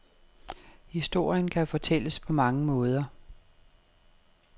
Historien kan fortælles på mange måder.